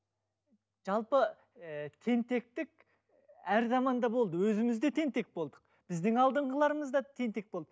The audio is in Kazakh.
жалпы ііі тентектік әр заманда болды өзіміз де тентек болдық біздің алдыңғыларымызда тентек болды